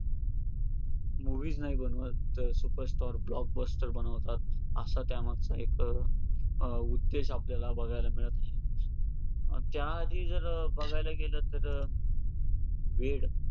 movie च नाही बनवत तर super star blockbuster बनवतात, असा त्या मागचा एक अं उद्देश आपल्याला मिळतं आहे. त्या आधी जर बघायला गेलं तर वेड